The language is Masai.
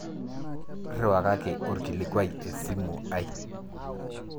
Rriwakaki orkilikuai esimu ai